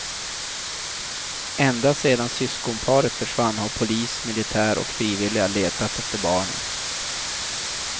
Ända sedan syskonparet försvann har polis, militär och frivilliga letat efter barnen.